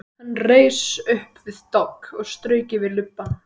Hann reis upp við dogg og strauk yfir lubbann.